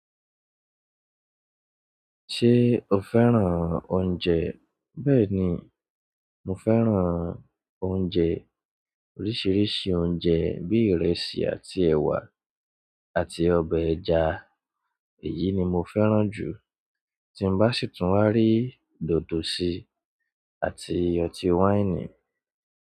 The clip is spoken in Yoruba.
Ṣé o fẹ́ràn oúnjẹ? Bẹ́ẹ̀ni, mo fẹ́ràn oúnjẹ oríṣiríṣi oúnjẹ bíi ìrẹsì àti ẹ̀wà àti ọbẹ̀ ẹja. Èyí ni mo fẹ́ràn jù, tí n bá sì tún wá rí dòdò síi àti ọtí wáìnì.